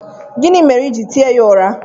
Gịnị mere i ji tie ya ụra?